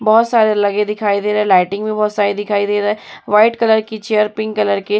बोहोत सारे लगे दिखाई दे रहें हैं। लाइटिंग भी बोहोत सारी दिखाई दे रहा हैं। व्हाइट कलर की चेयर पिंक कलर के --